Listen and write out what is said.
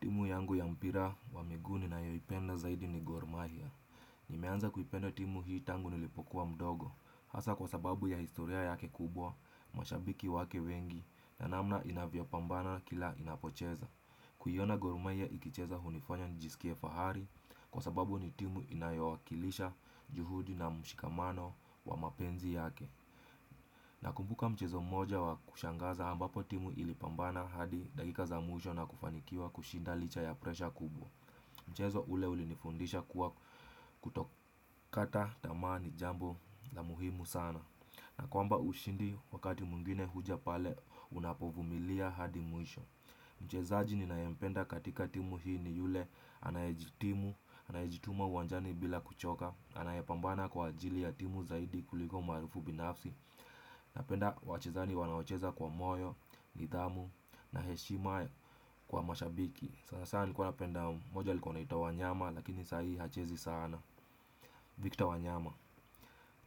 Timu yangu ya mpira wa miguu ninayoipenda zaidi ni gormahia. Nimeanza kuipenda timu hii tangu nilipokuwa mdogo. Hasa kwa sababu ya historia yake kubwa, mashabiki wake wengi na namna inavyo pambana kila inapocheza. Kuiona gormahia ikicheza hunifanya nijisikie fahari kwa sababu ni timu inayowakilisha juhudi na mshikamano wa mapenzi yake. Nakumbuka mchezo moja wa kushangaza ambapo timu ilipambana hadi dakika za mwisho na kufanikiwa kushinda licha ya presha kubwa Mchezo ule ulinifundisha kuwa kutokata tamaa ni jambo la muhimu sana na kwamba ushindi wakati mwingine huja pale unapovumilia hadi mwisho Mchezaji ninayempenda katika timu hii ni yule anayejitimu, anayejituma uwanjani bila kuchoka Anayepambana kwa ajili ya timu zaidi kuliko umaarufu binafsi Napenda wachezani wanaocheza kwa moyo, nidhamu na heshima kwa mashabiki Sanasana nilikuwa napenda mmoja alikuwa anaitwa wanyama lakini sahi hachezi sana Victor wanyama